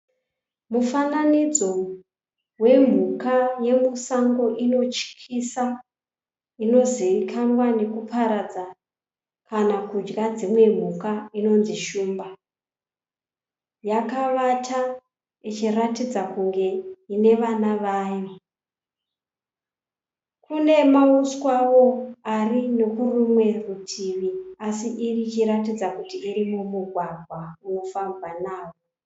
Mufananidzo wemhuka yemusango inotyisa inozivikanwa nekuparadza kana kudya dzimwe mhuka inonzi shumba. Yakavata ichiratidza kunge ine vana vayo. Kune mauswawo ari kune rumwe rutivi asi ichiratidza kuti iri mumugwagwa unofambwa nawo.